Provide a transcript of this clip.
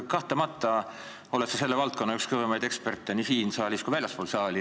Kahtlemata oled sa selle valdkonna üks kõvemaid eksperte nii siin saalis kui ka väljaspool seda.